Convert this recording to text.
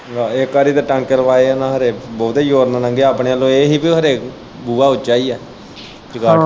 ਇੱਕ ਵਾਰ ਤੇ ਟਾਂਕੇ ਲਵਾਏ ਉਨਾਂ ਹਰੇ ਬੋਤੀ ਜੋਰ ਦੀ ਲੰਘਿਆ ਆਪਣੇ ਵੱਲੋਂ ਏਹ ਹੀ ਕਿ ਉਹ ਬੂਹਾ ਹਰੇ ਉੱਚਾ ਹੀ ਐ ਚੰਗਾਂਠ।